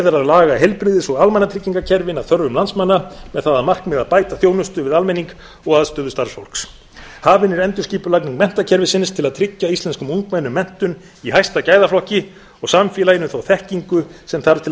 að laga heilbrigðis og almannatryggingakerfin að þörfum landsmanna með það að markmiði að bæta þjónustu við almenning og aðstöðu starfsfólks hafin er endurskipulagning menntakerfisins til að tryggja íslenskum ungmennum menntun í hæsta gæðaflokki og samfélaginu þá þekkingu sem þarf til að